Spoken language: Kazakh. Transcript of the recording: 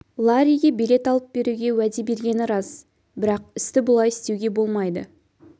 ларриге билет алып беруге уәде бергені рас бірақ істі бұлай істеуге болмайды